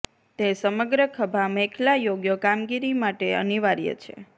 તે સમગ્ર ખભા મેખલા યોગ્ય કામગીરી માટે અનિવાર્ય છે